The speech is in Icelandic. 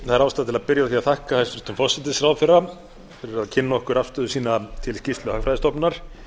byrja á að þakka hæstvirtum forsætisráðherra fyrir að kynna okkur afstöðu sína til skýrslu hagfræðistofnunar